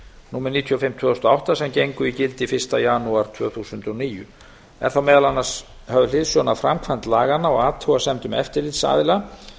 númer níutíu og fimm tvö þúsund og átta sem gengu í gildi fyrsta janúar tvö þúsund og níu er þá meðal annars höfð hliðsjón af framkvæmd laganna og athugasemdum eftirlitsaðila